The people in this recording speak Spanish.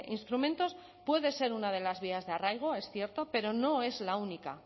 instrumentos puede ser una de las vías de arraigo es cierto pero no es la única